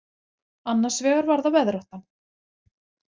Annars vegar var það veðráttan.